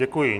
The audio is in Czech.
Děkuji.